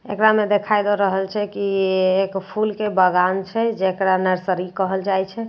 एकरा मे देखा दए रहल छै की ये एक फूल के बागान छै जेकरा नर्सरी कहल जाईत छै और --